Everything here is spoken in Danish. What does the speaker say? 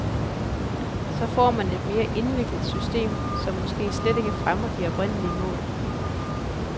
Så får man et meget indviklet system, som måske slet ikke fremmer de oprindelige mål.